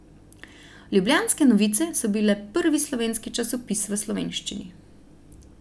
Ljubljanske novice so bile prvi slovenski časopis v slovenščini.